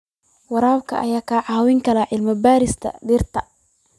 Waraabka ayaa ka caawiya cilmi-baarista dhirta.